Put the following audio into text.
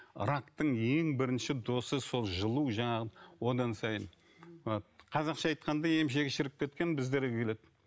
рактың ең бірінші досы сол жылу жаңағы одан сайын қазақша айтқанда емшегі шіріп кеткен біздерге келеді